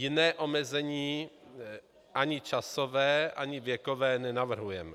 Jiné omezení, ani časové, ani věkové, nenavrhujeme.